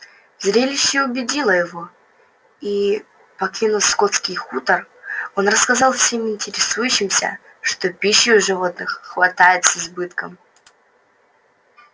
зрелище убедило его и покинув скотский хутор он рассказал всем интересующимся что пищи у животных хватает с избытком